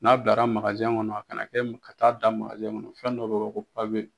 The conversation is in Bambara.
N'a bilara kɔnɔ a kana kɛ ka taa da kɔnɔ, fɛn dɔ bɛ wele ko